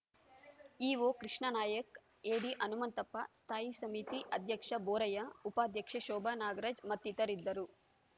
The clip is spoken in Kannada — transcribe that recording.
ಇಒ ಕೃಷ್ಣಾನಾಯ್ಕ್ ಎಡಿ ಹನುಮಂತಪ್ಪ ಸ್ಥಾಯಿ ಸಮಿತಿ ಅಧ್ಯಕ್ಷ ಬೋರಯ್ಯ ಉಪಾಧ್ಯಕ್ಷೆ ಶೋಭಾ ನಾಗರಾಜ್‌ ಮತ್ತಿತರರಿದ್ದರು